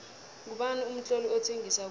ngubani umtloli othengisa khulu